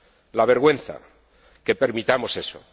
la vergüenza que permitamos eso.